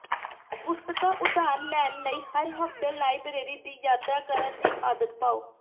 ਪੁਸਤਕਾਂ ਉਧਾਰ ਲੈਣ ਲਈ ਹਰ ਹਫ਼ਤੇ ਲਾਇਬਰੇਰੀ ਦੀ ਯਾਤਰਾ ਕਰਨ ਦੀ ਆਦਤ ਪਾਓ